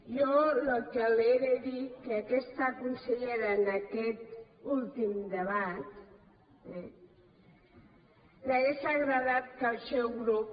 jo el que li he de dir és que a aquesta consellera en aquest últim debat li hauria agradat que el seu grup